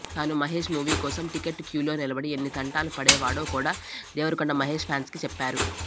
తాను మహేష్ మూవీ కోసం టిక్కెట్ క్యూలో నిలబడి ఎన్ని తంటాలు పడేవాడో కూడా దేవరకొండ మహేష్ ఫ్యాన్స్కి చెప్పారు